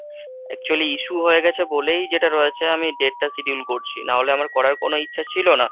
actually issue হয়ে গেছে বলেই যেটা রয়েছে আমি date টা schedule করছি ,না হলে আমার করার কোনো ইচ্ছা ছিল না।